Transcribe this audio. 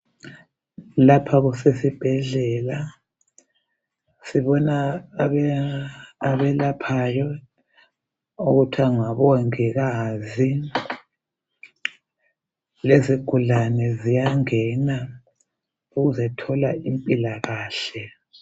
Lapha kusesibhedlela . Sibona abelaphayo okuthiwa ngabongikazi. Lezigulane ziyangena ukuzetholimpilakahle.